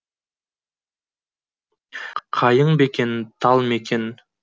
қайың ба екен тал ма екен